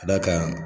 Ka d'a kan